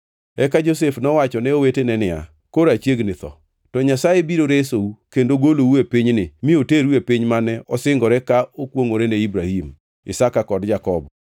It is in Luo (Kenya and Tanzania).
Eka Josef nowacho ne owetene niya, “Koro achiegni tho. To Nyasaye biro resou kendo golou e pinyni mi oteru e piny mane osingore ka okwongʼore ne Ibrahim, Isaka kod Jakobo.”